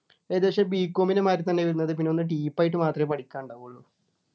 ഇത് ക്ഷെ B. com ൻ്റെ മാതിരി തന്നെ വരുന്നത് പിന്നെ ഒന്ന് deep ആയിട്ടു മാത്രേ പഠിക്കാൻ ഉണ്ടാവുള്ളു